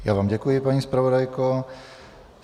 Já vám děkuji, paní zpravodajko.